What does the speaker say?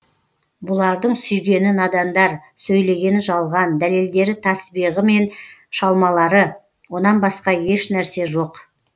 бұлардың сүйгені надандар сөйлегені жалған дәлелдері тәсбиғы менен шалмалары онан басқа ешнәрсе жоқ